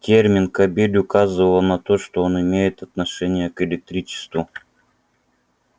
термин кабель указывал на то что он имеет отношение к электричеству